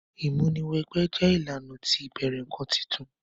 Ìmúni wẹ gbẹ́ jẹ ìlànà ti ìbẹ̀rẹ̀ nkan titun.